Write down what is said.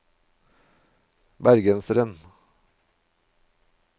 bergenseren